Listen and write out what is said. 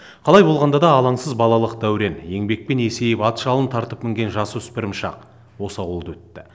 қалай болғанда да алаңсыз балалық дәурен еңбекпен есейіп ат жалын тартып мінген жасөспірім шақ осы ауылда өтті